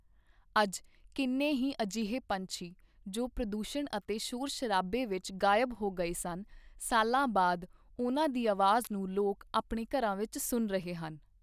ਅੱਜ ਕਿੰਨੇ ਹੀ ਅਜਿਹੇ ਪੰਛੀ ਜੋ ਪ੍ਰਦੂਸ਼ਣ ਅਤੇ ਸ਼ੋਰ ਸ਼ਰਾਬੇ ਵਿੱਚ ਗਾਇਬ ਹੋ ਗਏ ਸਨ, ਸਾਲਾਂ ਬਾਅਦ ਉਨ੍ਹਾਂ ਦੀ ਆਵਾਜ਼ ਨੂੰ ਲੋਕ ਆਪਣੇ ਘਰਾਂ ਵਿੱਚ ਸੁਣ ਰਹੇ ਹਨ।